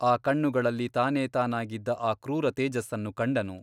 ಆ ಕಣ್ಣುಗಳಲ್ಲಿ ತಾನೇ ತಾನಾಗಿದ್ದ ಆ ಕ್ರೂರ ತೇಜಸ್ಸನ್ನು ಕಂಡನು.